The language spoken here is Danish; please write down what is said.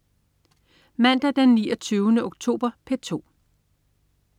Mandag den 29. oktober - P2: